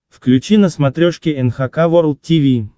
включи на смотрешке эн эйч кей волд ти ви